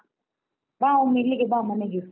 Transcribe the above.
ಬಾ ಒಮ್ಮೆ ಇಲ್ಲಿಗೆ ಬಾ ಮನೆಗೆ.